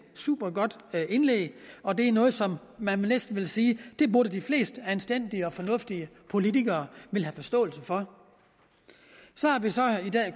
supergodt indlæg og det er noget som man næsten vil sige at de fleste anstændige og fornuftige politikere vil have forståelse for så